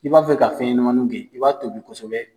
I b'a fɛ ka fɛn ɲɛnamaninw gɛn, i b'a tobi kosɛbɛ